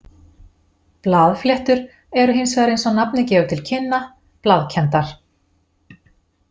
Blaðfléttur eru hins vegar eins og nafnið gefur til kynna blaðkenndar.